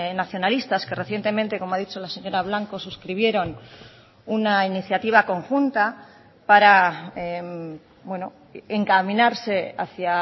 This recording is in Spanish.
nacionalistas que recientemente como ha dicho la señora blanco suscribieron una iniciativa conjunta para encaminarse hacia